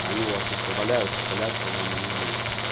они у вас просто валяются пылятся и вам не нужны